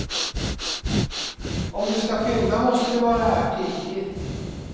Om du skall fynda måste du vara här tidigt.